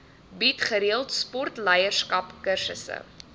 bied gereeld sportleierskapskursusse